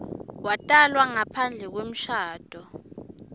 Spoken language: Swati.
watalwa ngaphandle kwemshado